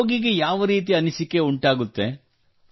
ರೋಗಿಗೆ ಯಾವ ರೀತಿಯ ಅನಿಸಿಕೆ ಉಂಟಾಗುತ್ತದೆ